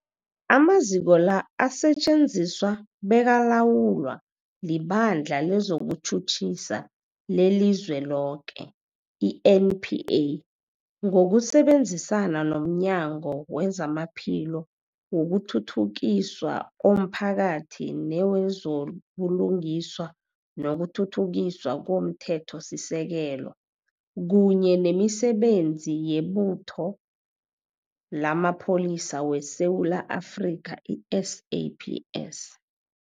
Amaziko la asetjenziswa bekalawulwa liBandla lezokuTjhutjhisa leliZweloke, i-NPA, ngokusebenzisana nomnyango wezamaPhilo, wokuthuthukiswa komphakathi newezo buLungiswa nokuThuthukiswa komThethosisekelo, kunye nemiSebenzi yeButho lamaPholisa weSewula Afrika, i-SAPS.